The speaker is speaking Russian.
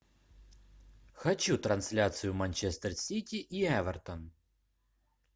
хочу трансляцию манчестер сити и эвертон